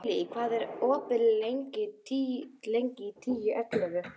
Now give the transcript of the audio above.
Emilý, hvað er opið lengi í Tíu ellefu?